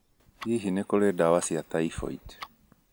Hihi nĩ kũrĩ ndawa cia typhoid?